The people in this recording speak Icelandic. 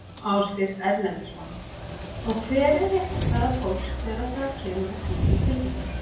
Ásgeir Erlendsson: Og hver er réttarstaða fólks þegar að það kemur að slíkum tilfellum?